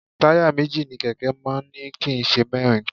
Táyà méjì ni kẹ̀kẹ́ máa ń ní kì í ṣe mẹ́rin